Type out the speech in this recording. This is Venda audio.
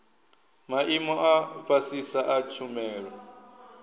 maimo a fhasisa a tshumelo